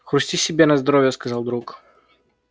хрусти себе на здоровье сказал друг